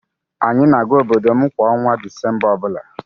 Anyị na-aga obodo m kwa ọnwa Disemba o bula.